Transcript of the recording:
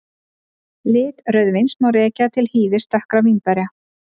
Lit rauðvíns má rekja til hýðis dökkra vínberja.